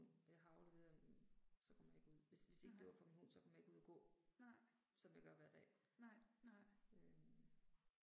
Og jeg har afleveret den så kommer jeg ikke ud. Hvis hvis ikke det var for en hund, som kom jeg ikke ud og gå, som jeg gør hver dag. Øh